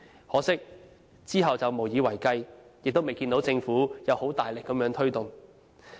可惜，之後卻無以為繼，亦未看到政府有大力推動。